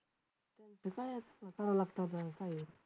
ते काय आहे करावं लागतं आपल्याला काय आहे.